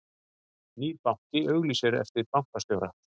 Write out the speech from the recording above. Nýr banki auglýsir eftir bankastjóra